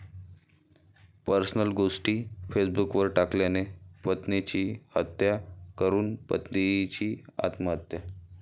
personal गोष्टी फेसबुकवर टाकल्याने पत्नीची हत्या करून पतीची आत्महत्या